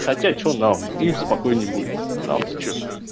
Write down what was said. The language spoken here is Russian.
хотя что нам им спокойней будет нам то что